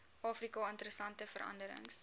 afrika interessante veranderings